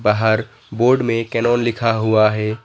बाहर बोर्ड में कैनोन लिखा हुआ है।